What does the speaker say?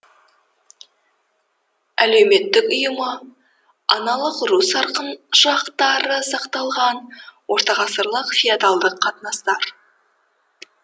әлеуметтік ұйымы аналық ру сарқыншақтары сақталған ортағасырлық феодалдық қатынастар